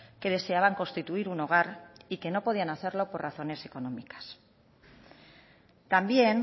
que deseaban constituir un hogar y que no podían hacerlo por razones económicas también